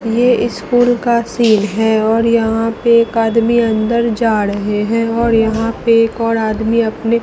ये स्कूल का सीन है और यहां पे एक आदमी अंदर जा रहे है और यहां पे एक और आदमी अपने--